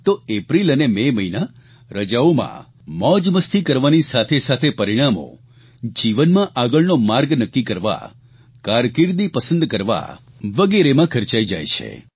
તો એપ્રિલ અને મે મહિના રજાઓમાં મોજમસ્તી કરવાની સાથેસાથે પરિણામો જીવનમાં આગળનો માર્ગ નક્કી કરવા કારકીર્દી પસંદ કરવા વગેરેમાં ખર્ચાઇ જાય છે